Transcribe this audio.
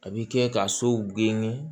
A bi kɛ ka sow geni